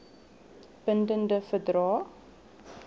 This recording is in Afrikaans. bin dende verdrae